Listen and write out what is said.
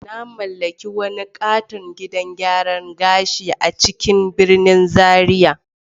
Na mallaki wani katon gidan gyaran gashi a cikin birnin Zaria.